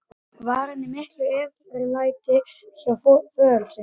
Var hann í miklu eftirlæti hjá föður sínum.